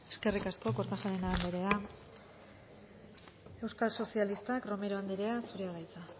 eskerrik asko kortajarena anderea euskal sozialistak romero anderea zurea da hitza